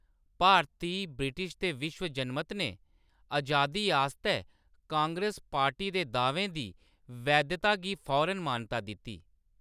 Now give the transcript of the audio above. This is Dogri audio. भारती, ब्रिटिश ते विश्व जनमत ने अजादी आस्तै कांग्रेस पार्टी दे दाह्‌वें दी वैधता गी फौरन मानता दित्ती।